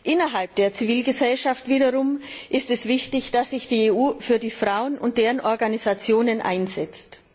Innerhalb der Zivilgesellschaft wiederum ist es wichtig, dass sich die EU für die Frauen und deren Organisationen einsetzt.